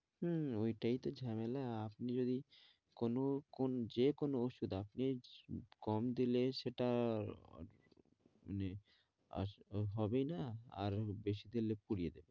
হম ওইটাই তো ঝামেলা আপনি যদি কোনো কোন যে কোনো ওষুধ আপনি কম দিলে সেটার মানে হবে না আর বেশি দিলে পুড়িয়ে দেবে